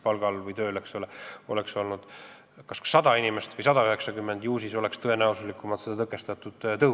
Kui neid oleks näiteks 100 või 190 inimest, ju siis oleks seda tõhusamalt tõkestatud.